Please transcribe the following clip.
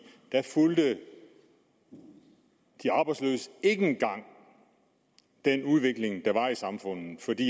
fulgte de arbejdsløse ikke engang den udvikling der var i samfundet fordi